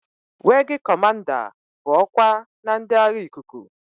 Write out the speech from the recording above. Weegi Cọmanda bụ ọkwa na ndị agha ikuku.